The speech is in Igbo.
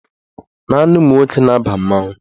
Naanị ụmụnwoke na-aba mmanwụ.